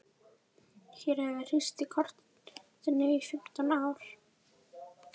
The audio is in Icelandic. Hér höfum við hírst í kotinu í fimmtán ár.